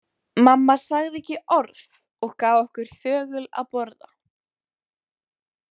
Mamma sagði ekki orð og gaf okkur þögul að borða.